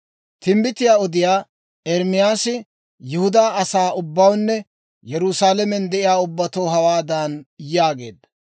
Timbbitiyaa odiyaa Ermaasi Yihudaa asaa ubbawunne Yerusaalamen de'iyaa ubbatoo hawaadan yaageedda;